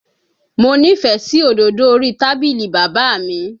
Mo nífẹ̀ẹ́ sí òdòdó orí tábìlì bàbá mi